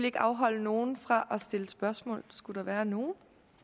ikke afholde nogen fra at stille spørgsmål hvis skulle være nogle